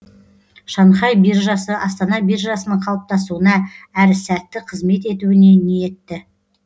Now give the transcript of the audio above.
шанхай биржасы астана биржасының қалыптасуына әрі сәтті қызмет етуіне ниетті